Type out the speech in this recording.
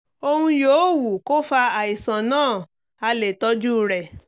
ohun yòówù kó fa àìsàn náà a lè tọ́jú rẹ̀